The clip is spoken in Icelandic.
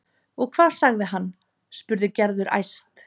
Og hvað sagði hann? spurði Gerður æst.